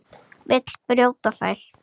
Vill brjóta þær.